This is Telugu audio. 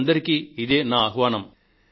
మీ అందరికీ ఇదే నా ఆహ్వానం